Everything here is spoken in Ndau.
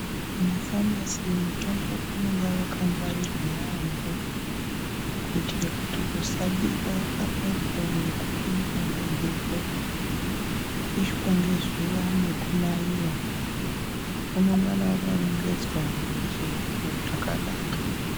Mumafamasi mutombo unenge wakangwarirwa yaamho kuitire kuti usabiwe pamwepo nekupindwa ngemhepo, kupishwa nekunaiwa . Unongana wakarongedzwa mumasherefu zvakanaka.